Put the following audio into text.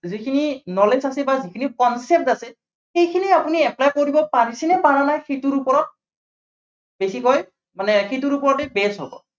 যি খিনি knowledge আছে বা যি খিনি concept আছে, সেইখিনি আপুনি apply কৰিব পাৰিছেনে, পাৰা নাই, সেইটোৰ ওপৰত বেছিকৈ মানে সেইটোৰ ওপৰতে based হব।